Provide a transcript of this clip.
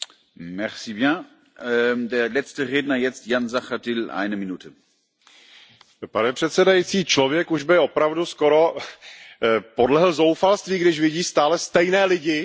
Pane předsedající, člověk už by opravdu skoro podlehl zoufalství, když vidí stále stejné lidi, jak poskytují stále stejně špatné odpovědi na klíčové otázky evropské integrace.